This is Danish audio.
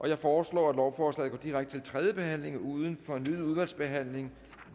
jeg foreslår at lovforslaget går direkte til tredje behandling uden fornyet udvalgsbehandling